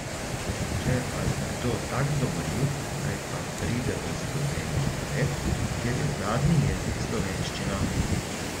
Če je pa kdo tak domoljub naj pa pride v Slovenijo živet, kjer je uradni jezik slovenščina.